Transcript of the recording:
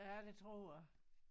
Ja det tror jeg